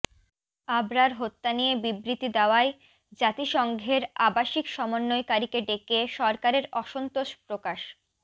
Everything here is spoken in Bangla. আবরার হত্যা নিয়ে বিবৃতি দেওয়ায় জাতিসংঘের আবাসিক সমন্বয়কারীকে ডেকে সরকারের অসন্তোষ প্রকাশ